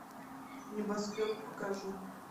небоскреб покажи